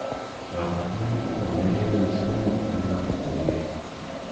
Kabarunoik kotaunekee kenyishek mut eng lakok che mengechen.